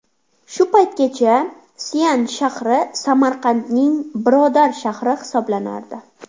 Shu paytgacha Sian shahri Samarqandning birodar shahri hisoblanardi.